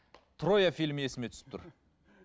троя фильмі есіме түсіп тұр